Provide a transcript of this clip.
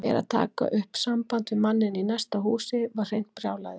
En að taka upp samband við manninn í næsta húsi var hreint brjálæði.